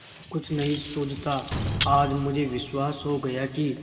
कुछ नहीं सूझता आज मुझे विश्वास हो गया कि